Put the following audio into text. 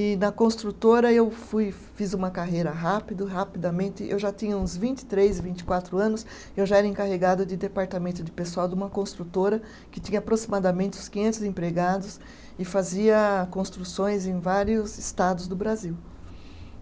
E na construtora eu fui, fiz uma carreira rápido rapidamente eu já tinha uns vinte e três, vinte e quatro anos, eu já era encarregada de departamento de pessoal de uma construtora que tinha aproximadamente uns quinhentos empregados e fazia construções em vários estados do brasil